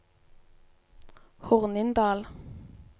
Hornindal